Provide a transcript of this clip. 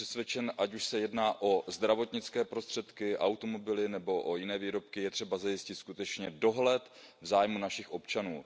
Jsem přesvědčen, ať už se jedná o zdravotnické prostředky, automobily nebo o jiné výrobky, je třeba zajistit skutečně dohled v zájmu našich občanů.